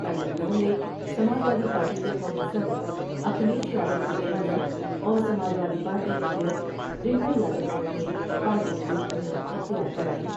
کل لکھنو میں Samajwadi party کے قومی صدر اکھلیش یادو کی اہلیہ اور Samajwadi party leader Dimple Yadav نے انھیں پارٹی کی رکنیت رختیار کرائی ۔